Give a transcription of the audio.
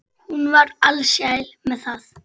Hún var alsæl með það.